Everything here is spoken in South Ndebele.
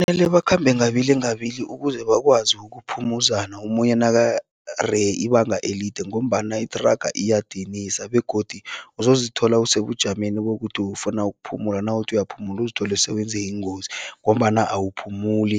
Mele bakhambe ngababili ngababili ukuze bakwazi ukuphumuzana omunye nakareye ibanga elide ngombana ithraga iyadinisa begodu uzozithola usebujameni bokuthi ufuna ukuphumula, nawuthi uyaphumula uzithole sewenze ingozi ngombana awuphumuli